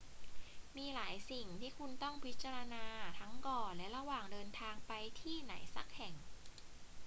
มีหลายสิ่งที่คุณต้องพิจารณาทั้งก่อนและระหว่างเดินทางไปที่ไหนสักแห่ง